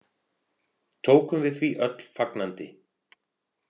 Tókum við því öll fagnandi.